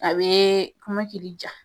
A bɛ kɔmɔkili ka.